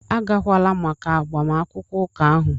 Agakwala maka agbamakwụkwọ ụka ahụ!